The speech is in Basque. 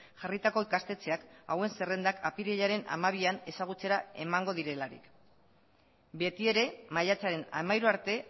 jarritako ikastetxeak hauen zerrendak apirilaren hamabian ezagutzera emango direlarik betiere maiatzaren hamairu arte